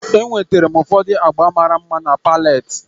Enwetara m ụfọdụ agba mara mma na pallet